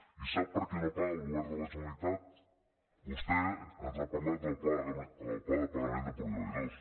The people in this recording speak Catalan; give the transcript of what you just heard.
i sap per què no paga el govern de la generalitat vostè ens ha parlat del pla de pagament de proveïdors